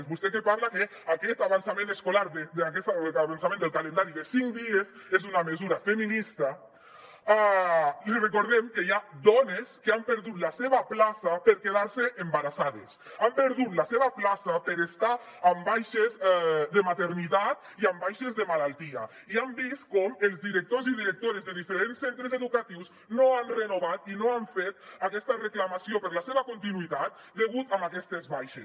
a vostè que parla que aquest avançament escolar que aquest avançament del calendari de cinc dies és una mesura feminista li recordem que hi ha dones que han perdut la seva plaça per haver se quedat embarassades han perdut la seva plaça perquè estaven amb baixes de maternitat i amb baixes de malaltia i han vist com els directors i directores de diferents centres educatius no han renovat i no han fet aquesta reclamació per a la seva continuïtat degut a aquestes baixes